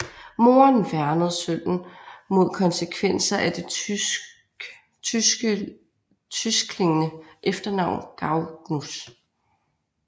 Moren værnede sønnen mod konsekvenser af det tyskeklingende efternavn Gagnus